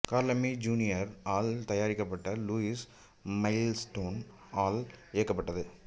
curl Laemmle junior ஆல் தயாரிக்கப்பட்டு Lewis Milestone ஆல் இயக்கப்பட்டது